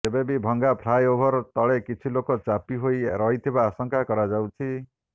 ଏବେ ବି ଭଙ୍ଗା ଫ୍ଲାଏଓଭର ତଳେ କିଛି ଲୋକ ଚାପି ହୋଇ ରହିଥିବା ଆଶଙ୍କା କରାଯାଉଛି